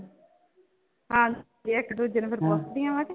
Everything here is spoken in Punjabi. ਹਾਂਜੀ ਇੱਕ ਦੂਜੇ ਨੂੰ ਫਿਰ ਪੁੱਛਦੀਆਂ ਵਾਂ